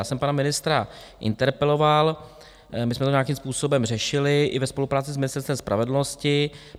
Já jsem pana ministra interpeloval, my jsme to nějakým způsobem řešili i ve spolupráci s Ministerstvem spravedlnosti.